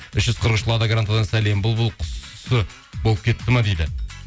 үш жүз қырық үш лада грантадан сәлем бұлбұл құсы болып кетті ме дейді